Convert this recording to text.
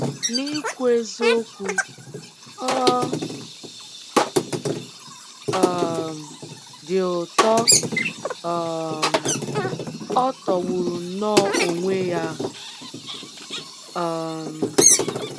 Na-ikwu eziokwu, ọ um dị ụtọ um — ọ tọgburu nnọọ onwe ya! um